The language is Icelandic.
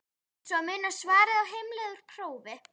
Eins og að muna svarið á heimleið úr prófi?